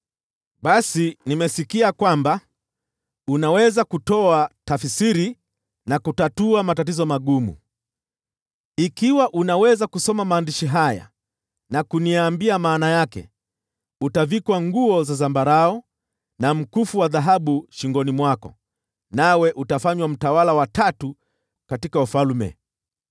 Basi nimesikia kwamba unaweza kutoa tafsiri na kutatua matatizo magumu. Ikiwa unaweza kusoma maandishi haya na kuniambia maana yake, utavikwa nguo za zambarau na mkufu wa dhahabu shingoni mwako, nawe utafanywa mtawala wa tatu katika ufalme.”